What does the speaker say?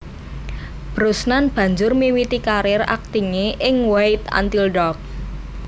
Brosnan banjur miwiti karir aktinge ing Wait Until Dark